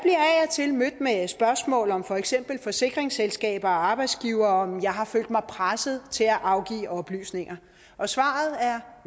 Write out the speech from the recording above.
til mødt med spørgsmål om for eksempel forsikringsselskaber og arbejdsgivere og om jeg har følt mig presset til at afgive oplysninger og svaret er